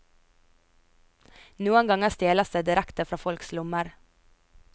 Noen ganger stjeles det direkte fra folks lommer.